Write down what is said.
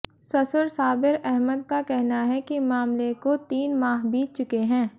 ससुर साबिर अहमद का कहना है कि मामले को तीन माह बीत चुके है